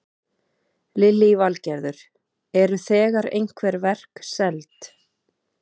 Lillý Valgerður: Eru þegar einhver verk seld?